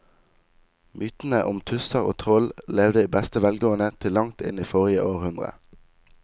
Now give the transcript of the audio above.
Mytene om tusser og troll levde i beste velgående til langt inn i forrige århundre.